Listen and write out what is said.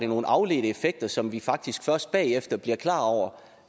nogle afledte effekter som vi faktisk først bagefter bliver klar over